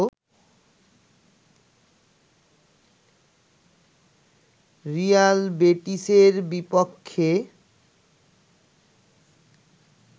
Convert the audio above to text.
Real বেটিসের বিপক্ষে